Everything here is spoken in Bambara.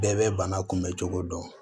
Bɛɛ bɛ bana kunbɛncogo dɔn